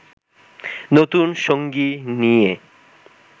নতুন সঙ্গী নিয়ে